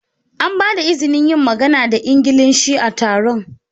An ba da izinin yin magana da Ingilishi a taron?